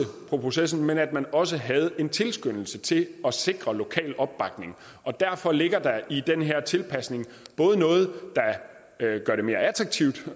på processen men at man også havde en tilskyndelse til at sikre lokal opbakning og derfor ligger der i den her tilpasning både noget der gør det mere attraktivt